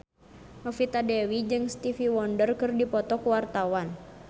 Novita Dewi jeung Stevie Wonder keur dipoto ku wartawan